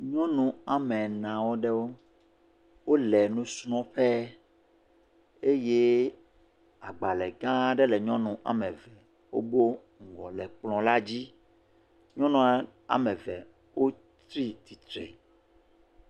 Nyɔnu woame ene aɖewo, wole enusrɔ̃ƒe eye agbalẽ gã aɖe le nyɔnu am eve wo ŋgɔ le kplɔ la dzi, nyɔnua woame ve wotsi tsitre.